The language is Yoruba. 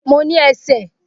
Mo ní ẹsẹ̀